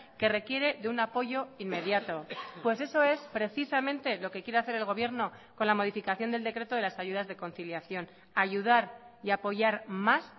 que requiere de un apoyo inmediato pues eso es precisamente lo que quiere hacer el gobierno con la modificación del decreto de las ayudas de conciliación ayudar y apoyar más